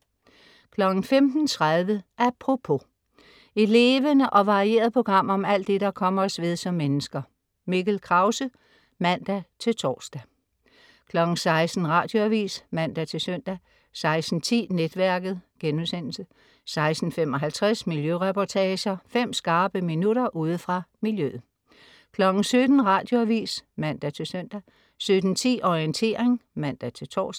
15.30 Apropos. Et levende og varieret program om alt det, der kommer os ved som mennesker. Mikkel Krause (man-tors) 16.00 Radioavis (man-søn) 16.10 Netværket* 16.55 Miljøreportager. Fem skarpe minutter ude fra miljøet 17.00 Radioavis (man-søn) 17.10 Orientering (man-tors)